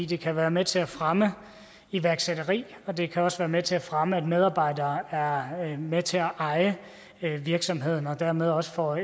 det kan være med til at fremme iværksætteri og det kan også være med til at fremme at medarbejdere er med til at eje virksomheden og dermed også får